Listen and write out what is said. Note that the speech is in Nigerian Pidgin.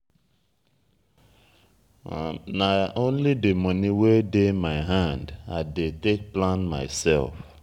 nah only di moni wey dey my hand i dey take plan mysef.